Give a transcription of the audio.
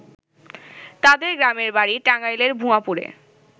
তাদের গ্রামের বাড়ি টাঙ্গাইলের ভুঞাপুরে।